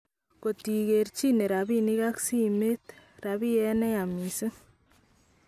Kot ikerchine rabinik ak simet ,rabiet neyaa missing.